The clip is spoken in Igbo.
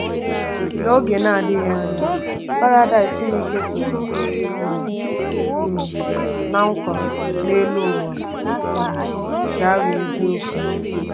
N’oge na-adịghị anya, Paradaịs Chineke kwere um um ná nkwa n’elu ụwa um ga-aghọ eziokwu.